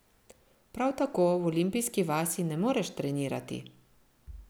Prav tako v olimpijski vasi ne moreš trenirati.